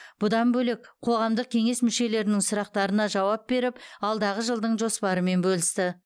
бұдан бөлек қоғамдық кеңес мүшелерінің сұрақтарына жауап беріп алдағы жылдың жоспарымен бөлісті